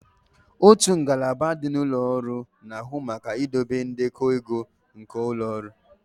Otu ngalaba dị na ụlọ ọrụ na-ahụ maka idobe ndekọ ego nke ụlọ ọrụ